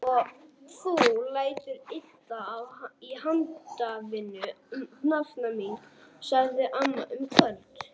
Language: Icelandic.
Og þú lætur illa í handavinnu nafna mín! sagði amma um kvöldið.